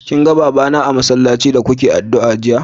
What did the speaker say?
Kin gan baba na a'masallaci da Kuna addu'a jiya?